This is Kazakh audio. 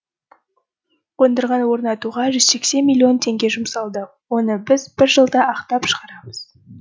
қондырғыны орнатуға жүз сексен миллион теңге жұмсалды оны біз бір жылда ақтап шығарамыз